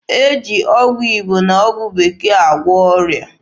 E ji ọgwụ Igbo na ọgwụ Bekee agwọ ọrịa.